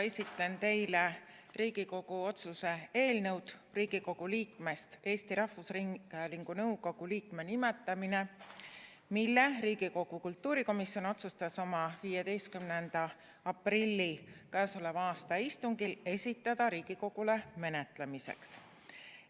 Esitlen teile Riigikogu otsuse "Riigikogu liikmest Eesti Rahvusringhäälingu nõukogu liikme nimetamine" eelnõu, mille Riigikogu kultuurikomisjon otsustas oma 15. aprilli istungil esitada Riigikogule menetlemiseks.